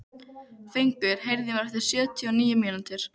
Fengur, heyrðu í mér eftir sjötíu og níu mínútur.